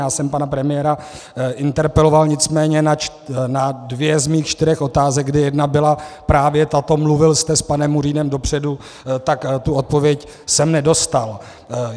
Já jsem pana premiéra interpeloval, nicméně na dvě z mých čtyřech otázek, kdy jedna byla právě tato - mluvil jste s panem Murínem dopředu? -, tak tu odpověď jsem nedostal.